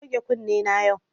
Na goge kunne na yau